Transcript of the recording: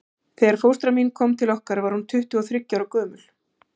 Þegar fóstra mín kom til okkar var hún tuttugu og þriggja ára gömul.